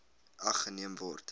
ag geneem word